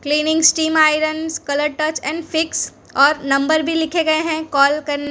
cleaning steam irons colour touch and fix और number भी लिखे गए है कॉल कन --